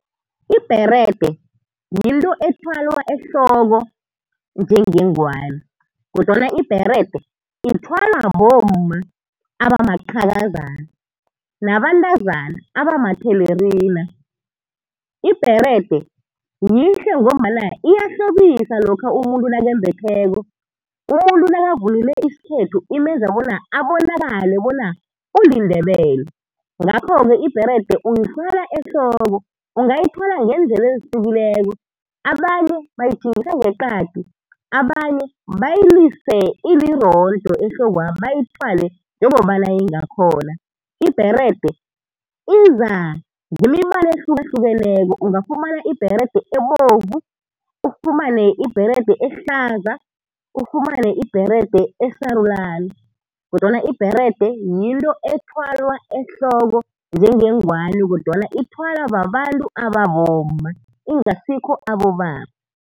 Ibherede yinto ethwalwa ehloko njengengwani, odwana ibherede ithwalwa bomma abamaqhakazana nabantazana abamathelerina. Ibherede yihle ngombana iyahlobisa lokha umuntu nakembetheko. Umuntu nakavunule isikhethu imenza abonakale bona uliNdebele. Ngakho-ke ibherede uyithwala ehloko, ungayithwala ngeendlela ezihlukileko, abanye bayitjhingisa ngeqadi, abanye bayilise ilirondo ehlokwa', bayithwale njengobana ingakhona. Ibherede iza ngemibala ehlukahlukeneko, ungafumana ibherede ebovu, ufumane ibherede ehlaza, ufumane ibherede esarulana, kodwana ibherede yinto ethwalwa ehloko njengengwani kodwana ithwalwa babantu ababomma ingasikho abobaba.